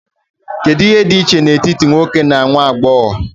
Kedu ihe dị iche n'etiti nwoke na nwa agbọghọ?